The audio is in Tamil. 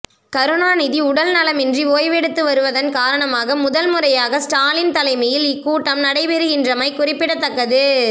கருணாநிதி உடல் நலமின்றி ஓய்வெடுத்து வருவதன் காரணமாக முதல்முறையாக ஸ்டாலின் தலைமையில் இக்கூட்டம் நடைபெறுகின்றமை குறிப்பிடத்தக்கது